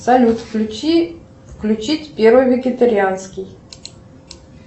салют включи включить первый вегетарианский